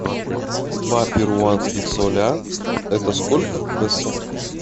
два перуанских соля это сколько в песо